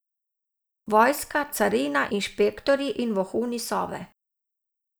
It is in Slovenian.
Vojska, carina, inšpektorji in vohuni Sove.